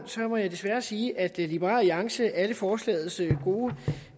må jeg desværre sige at liberal alliance alle forslagets gode